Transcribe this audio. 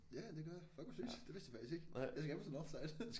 Ja ja det gør jeg fuck hvor fedt det vidste jeg faktisk ikke jeg skal faktisk til Northside